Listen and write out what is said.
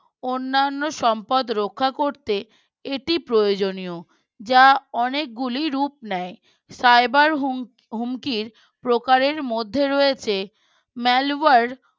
অন্যান্য সম্পদ রক্ষা করতে এটি প্রয়োজনীয়। যা অনেকগুলি রূপ নেয় Cyber হুম হুমকির প্রকারের মধ্যে রয়েছে malware